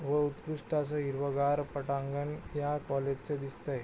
व उत्कृष्ट अस हिरवागार पटांगण या कॉलेज च दिसतय.